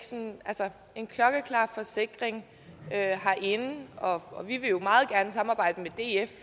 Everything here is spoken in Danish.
en klokkeklar forsikring herinde og vi vil jo meget gerne samarbejde med df